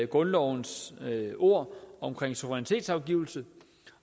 grundlovens ord omkring suverænitetsafgivelse